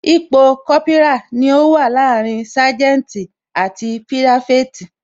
Ipò Kópírà ni ó wà láàrin saganti àti pirafeti